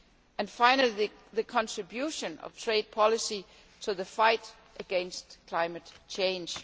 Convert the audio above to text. and finally, there is the contribution of trade policy to the fight against climate change.